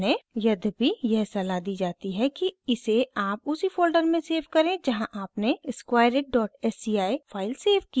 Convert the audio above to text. यद्यपि यह सलाह दी जाती है कि इसे आप उसी फोल्डर में सेव करें जहाँ आपने squareitsci फाइल सेव की है